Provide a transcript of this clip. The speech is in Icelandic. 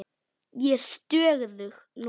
Ég er stöðug núna.